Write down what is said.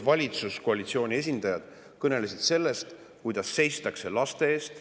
Valitsuskoalitsiooni esindajad kõnelesid siin sellest, kuidas seistakse laste eest.